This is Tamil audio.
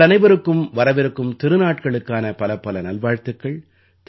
உங்கள் அனைவருக்கும் வரவிருக்கும் திருநாட்களுக்கான பலப்பல நல்வாழ்த்துக்கள்